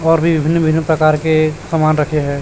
और भी भिन्न भिन्न प्रकार के सामान रखे हैं।